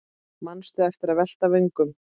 Manstu eftir að velta vöngum?